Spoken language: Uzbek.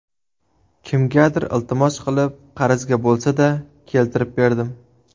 Kimgadir iltimos qilib, qarzga bo‘lsa-da, keltirib berdim.